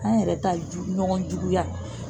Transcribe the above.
An yɛrɛ ta in ɲɔgɔn juguya.